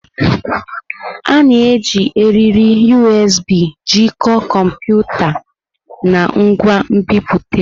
A na-eji eriri USB jikọọ kọmputa na ngwa nbipute.